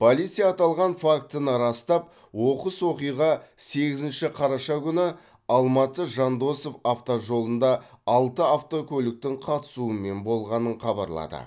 полиция аталған фактіні растап оқыс оқиға сегізінші қараша күні алматы жандосов автожолында алты автокөліктің қатысуымен болғанын хабарлады